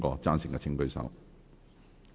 贊成的請舉手。